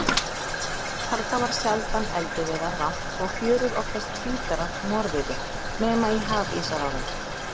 Þarna varð sjaldan eldiviðar vant og fjörur oftast hvítar af morviði, nema í hafísárum.